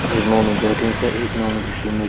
एक नोनू बैठ्यूं च एक नोनू घिसेणु।